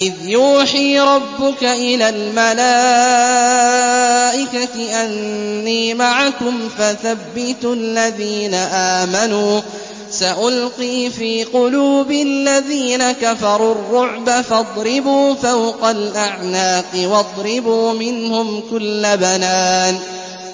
إِذْ يُوحِي رَبُّكَ إِلَى الْمَلَائِكَةِ أَنِّي مَعَكُمْ فَثَبِّتُوا الَّذِينَ آمَنُوا ۚ سَأُلْقِي فِي قُلُوبِ الَّذِينَ كَفَرُوا الرُّعْبَ فَاضْرِبُوا فَوْقَ الْأَعْنَاقِ وَاضْرِبُوا مِنْهُمْ كُلَّ بَنَانٍ